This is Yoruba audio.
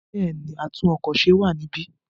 Bẹ́ẹ̀ni, atún-ọkọ̀-se wà níbí.